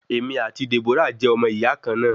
Èmi ati Deborah jẹ omo iya kan na